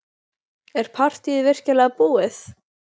Er partýið virkilega búið?